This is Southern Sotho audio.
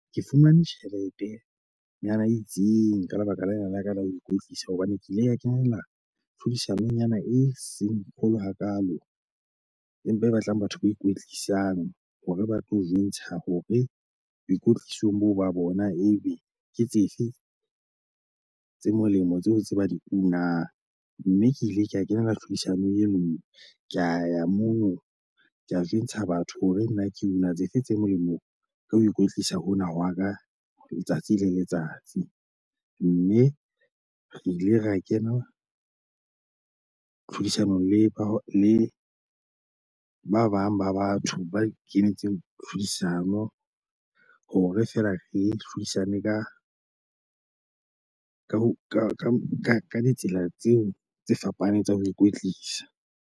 Ke fumane tjheletenyana e itseng, ka lebaka lena la ka la ho ikwetlisa hobane ke ile ka kenela tlhodisanonyana e seng kgolo hakaalo. Empa e batlang batho ba ikwetlisang hore ba tlo jwentsha hore boikwetlisong bo ba bona ebe ke tsefe tse molemo tseo tse ba di unang. Mme ke ile ke a kena tlhodisanong e nngwe, ka ya mono ko jwentsha batho hore nna ke una tsefe tse molemo ka ho ikwetlisa hona hwa ka letsatsi le letsatsi. Mme re ile ra kena tlhodisanong le ba le ba bang ba batho ba kenetsweng tlhodisano hore feela re hlodisanang ka ka ka ditsela tseo tse fapaneng tsa ho ikwetlisa.